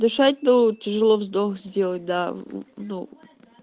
дышать ну тяжело вздох сделать да ну